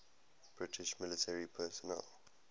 british military personnel